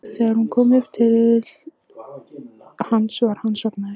Þegar hún kom upp í til hans var hann sofnaður.